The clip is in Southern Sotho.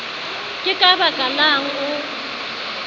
ke ka baka lang o